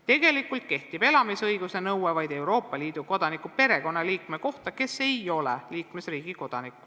Tegelikult kehtib elamisõiguse nõue vaid Euroopa Liidu kodaniku perekonnaliikme kohta, kes ei ole liikmesriigi kodanik.